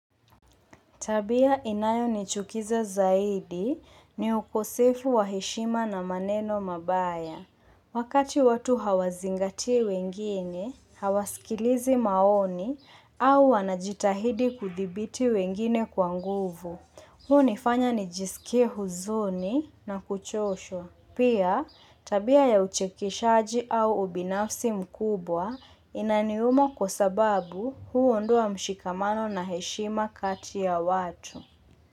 Tabia inayo nichukiza zaidi ni ukosefu wa heshima na maneno mabaya. Wakati watu hawazingatii wengine, hawaskilizi maoni au wanajitahidi kuthibiti wengine kwa nguvu, huo nifanya nijisikie huzuni na kuchoshwa. Pia, tabia ya uchekeshaji au ubinafsi mkubwa inaniuma kwa sababu huu ndoa mshikamano na heshima kati ya watu.